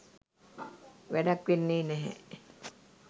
වැඩක් වෙන්නේ නැහැ